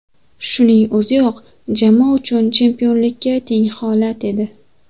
Shuning o‘ziyoq jamoa uchun chempionlikka teng holat edi.